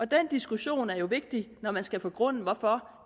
diskussion er jo vigtig når man skal begrunde hvorfor